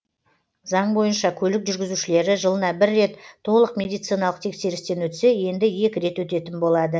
заң бойынша көлік жүргізушілері жылына бір рет толық медициналық тексерістен өтсе енді екі рет өтетін болады